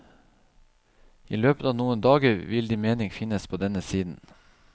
I løpet av noen dager vil din mening finnes på denne siden.